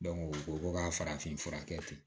u ko ko ka farafin fura kɛ ten